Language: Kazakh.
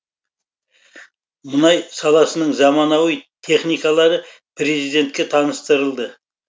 мұнай саласының заманауи техникалары президентке таныстырылды